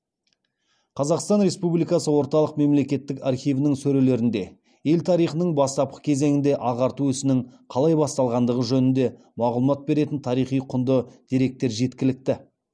қазақстан республикасы орталық мемлекеттік архивінің сөрелерінде ел тарихының бастапқы кезеңінде ағарту ісінің қалай басталғандығы жөнінде мағлұмат беретін тарихи құнды деректер жеткілікті